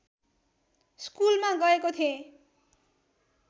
स्कुलमा गएको थेँ